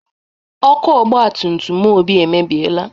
Ọkụ ọgbatutum Obi emebieela.